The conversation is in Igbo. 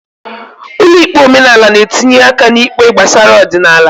Ụlọ ikpe omenala n'etinye aka n'ikpe gbasara ọdịnala.